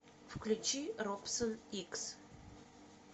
включи робсон икс